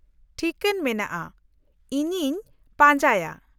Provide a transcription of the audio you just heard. -ᱴᱷᱤᱠᱟᱹᱱ ᱢᱮᱱᱟᱜᱼᱟ, ᱤᱧᱤᱧ ᱯᱟᱸᱡᱟᱭᱟ ᱾